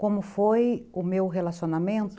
Como foi o meu relacionamento?